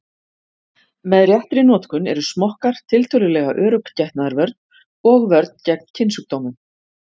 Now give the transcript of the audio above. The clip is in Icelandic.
Með réttri notkun eru smokkar tiltölulega örugg getnaðarvörn og vörn gegn kynsjúkdómum.